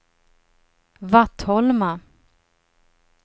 Vattholma